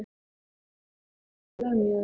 Hef ég eitthvað verið að lemja þig?